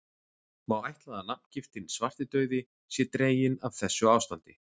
Má ætla að nafngiftin svartidauði sé dregin af þessu ástandi.